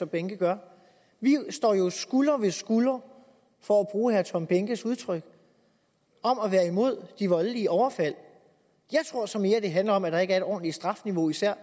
behnke gør vi står jo skulder ved skulder for at bruge herre tom behnkes udtryk om at være imod de voldelige overfald jeg tror så mere det handler om at der ikke er et ordentligt strafniveau især